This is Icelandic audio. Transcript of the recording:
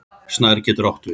Snær getur átt við